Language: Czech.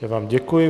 Já vám děkuji.